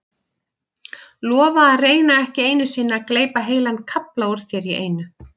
Lofa að reyna ekki einu sinni að gleypa heilan kafla úr þér í einu.